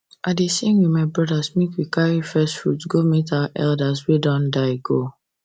i dey sing with my brothers when we carry first fruit go meet our elders wey don die go